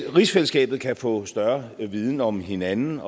rigsfællesskabet kan få større viden om hinanden